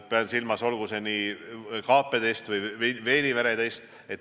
Pean silmas kaapeteste ja veenivereteste.